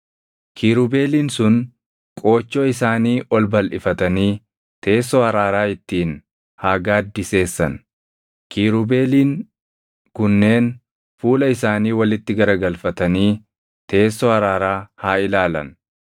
Kiirubeeliin sun qoochoo isaanii ol balʼifatanii teessoo araaraa ittiin haa gaaddiseessan; Kiirubeeliin kunneen fuula isaanii walitti garagalfatanii teessoo araaraa haa ilaalan.